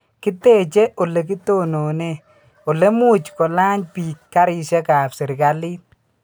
kiteche olegitonone olemuch kolany biik karishekab serikalit